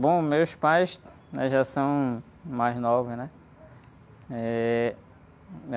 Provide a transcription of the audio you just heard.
Bom, meus pais, né? Já são mais novos, né? Eh...